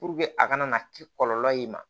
a kana na kɛ kɔlɔlɔ y'i ma